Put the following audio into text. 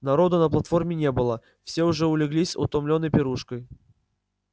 народу на платформе не было все уже улеглись утомлённые пирушкой